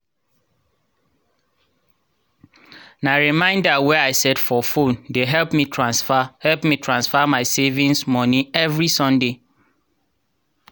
na reminder wey i set for phone dey help me transfer help me transfer my savings moni evri sunday.